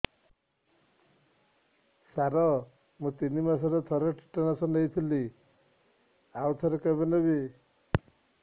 ସାର ମୁଁ ତିନି ମାସରେ ଥରେ ଟିଟାନସ ନେଇଥିଲି ଆଉ ଥରେ କେବେ ନେବି